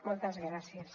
moltes gràcies